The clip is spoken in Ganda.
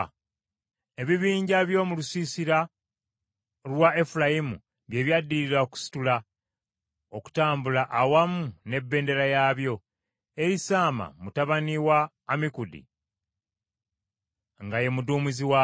Ebibinja by’omu lusiisira lwa Efulayimu bye byaddirira okusitula okutambula awamu n’ebendera yaabyo; Erisaama mutabani wa Ammikudi nga ye muduumizi waabyo.